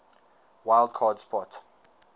wild card spot